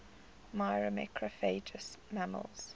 myrmecophagous mammals